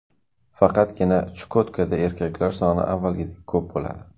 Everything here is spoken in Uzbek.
Faqatgina Chukotkada erkaklar soni avvalgidek ko‘p bo‘ladi.